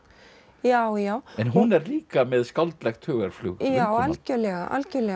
já já en hún er líka með skáldlegt hugarflug já algjörlega algjörlega